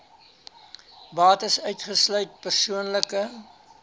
bates uitgesluit persoonlike